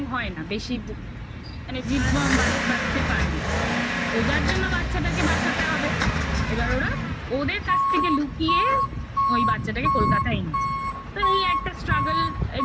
হয় না বেশি মানে জীবন বাঁচতে পারে না তো যার জন্য বাচ্চাটাকে বাঁচাতে হবে এবার ওরা ওদের কাছ থেকে লুকিয়ে ওই বাচ্চাটাকে কলকাতায় এনেছে তো তো এই একটা struggle এর